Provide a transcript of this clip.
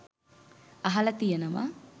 අහලා තියෙනවා